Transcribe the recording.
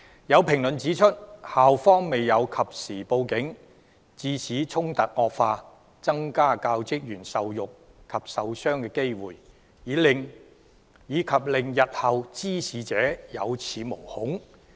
有評論指出，校方未有及時報警，致使衝突惡化、增加教職員受辱及受傷的機會，以及令日後的滋事者有恃無恐。